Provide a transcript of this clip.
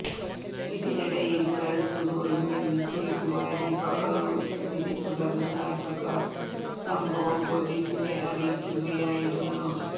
ഇതിനിടയിൽ കഴുത്ത് മുറിഞ്ഞ വിജയകുമാരി ബഹളം വച്ചതിനെ തുടർന്ന് നാട്ടുകാർ സംഭവം പോലീസിനെ അറിയിക്കുകയായിരുന്നു